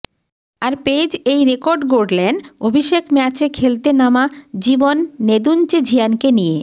আর পেজ এই রেকর্ড গড়লেন অভিষেক ম্যাচে খেলতে নামা জীবন নেদুনচেঝিয়ানকে নিয়ে